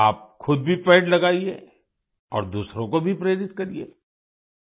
आप खुद भी पेड़ लगाइये और दूसरों को भी प्रेरित करिए आई